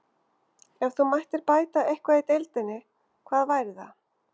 Ef þú mættir bæta eitthvað í deildinni, hvað væri það?